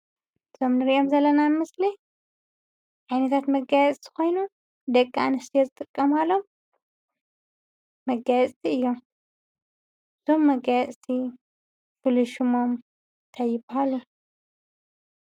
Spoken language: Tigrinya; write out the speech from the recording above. እቶም ንሪኦም ዘለና ምስሊ ዓይነታት መጋየፅቲ ኮይኖም ደቂ ኣነስትዮ ዝጥቀማሎም መጋየፅቲ እዮም፡፡ እዞም መጋየፅቲ ፍሉይ ሽሞም እንታይ ይበሃሉ?